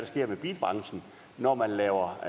sker med bilbranchen når man laver